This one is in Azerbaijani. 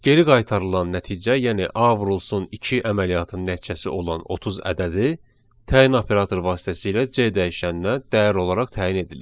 Geri qaytarılan nəticə, yəni A vurulsun 2 əməliyyatının nəticəsi olan 30 ədədi təyin operatoru vasitəsilə C dəyişəninə dəyər olaraq təyin edilir.